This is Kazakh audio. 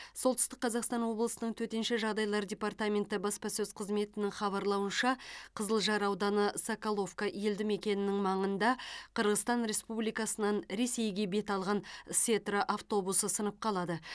солтүстік қазақстан облысының төтенше жағдайлар департаменті баспасөз қызметінің хабарлауынша қызылжар ауданы соколовка елді мекенінің маңында қырғызстан республикасынан ресейге бет алған сетра автобусы сынып қалады